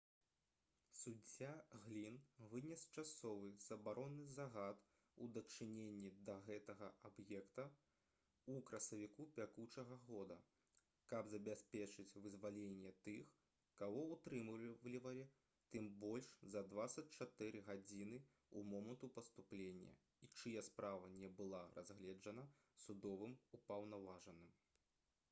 суддзя глін вынес часовы забаронны загад у дачыненні да гэтага аб'екта ў красавіку бягучага года каб забяспечыць вызваленне тых каго ўтрымлівалі там больш за 24 гадзіны з моманту паступлення і чыя справа не была разгледжана судовым упаўнаважаным